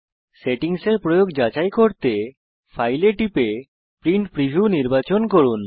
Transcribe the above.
settings কিভাবে প্রয়োগ করা হয়েছে তা যাচাই করতে ফাইল এ টিপুন এবং প্রিন্ট প্রিভিউ নির্বাচন করুন